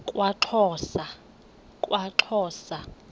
kwaxhosa